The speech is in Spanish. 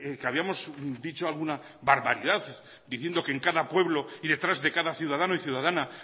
que habíamos dicho alguna barbaridad diciendo que en cada pueblo y detrás de cada ciudadano y ciudadana